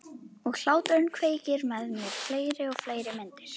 Og hláturinn kveikir með mér fleiri og fleiri myndir.